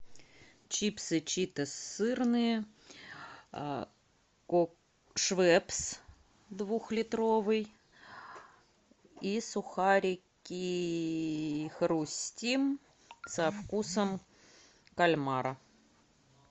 чипсы читос сырные швепс духлитровый и сухарики хрустим со вкусом кальмара